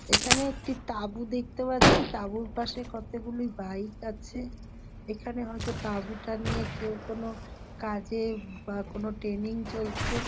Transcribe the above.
এখানে একটি তাবু দেখতে পাচ্ছি তাঁবুর পাশে কতগুলি বাইক আছে এখানে হয়তো তাবুটা নিয়ে কেউ কোনো কাজে বা কোন টেনিং চলছে।